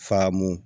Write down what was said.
Faamamu